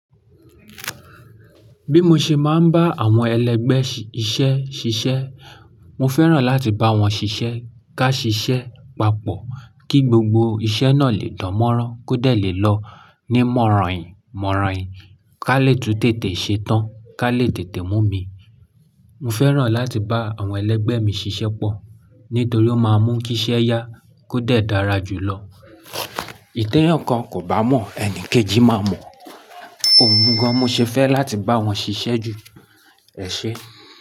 Bí mo ṣe máa ń bá àwọn ẹlẹgbẹ́ si iṣẹ́ ṣiṣẹ́, mo fẹ́ràn láti bá wọn ṣiṣẹ́ ká ṣiṣẹ́ papọ̀ kí gbogbo iṣẹ́ náà lè dánmọ́rán kóde lè lọ ní mọ̀ràn-ìn mọ̀ràn-ìn, ká lè tun tètè ṣe tán, ká lè tètè mú mi. Mo fẹ́ràn láti bá àwọn ẹlẹgbẹ́ mi ṣiṣẹ́ pọ̀ nítorí ó máa ń mú kí iṣẹ́ yá kóde dára jù lọ. Teyan kan kò bá mọ̀, ẹni kejì máa mọ̀. Ohun gan-an mo ṣe fẹ́ láti bá wọn ṣiṣẹ́ jù. Ẹ ṣé.